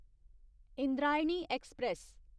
Indrayani express